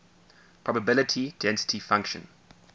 probability density function